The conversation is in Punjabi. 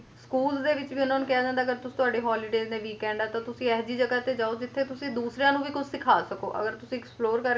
school ਦੇ ਵਿੱਚ ਵੀ ਉਹਨਾਂ ਨੂੰ ਕਿਹਾ ਜਾਂਦਾ ਅਗਰ ਤੁਸੀ ਤੁਹਾਡੇ holidays ਤੇ weekend ਆ ਤਾਂ ਤੁਸੀ ਅਹਿਜੀ ਜਗ੍ਹਾ ਤੇ ਜਾਓ ਜਿੱਥੇ ਤੁਸੀ ਦੂਸਰਿਆਂ ਨੂੰ ਵੀ ਕੁਛ ਸਿਖਾ ਸਕੋ ਅਗਰ ਤੁਸੀ explore ਕਰਕੇ